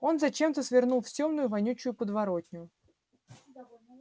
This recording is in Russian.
он зачем-то свернул в тёмную вонючую подворотню